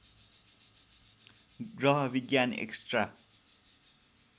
ग्रह विज्ञान एक्स्ट्रा